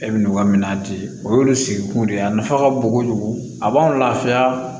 E bɛ n'o ka minɛn di o y'olu sigikun de ye a nafa ka bon kojugu a b'an lafiya